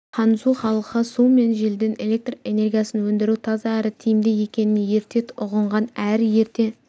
ханзу халқы су мен желден электр энергиясын өндіру таза әрі тиімді екенін ерте ұғынған әрі ерте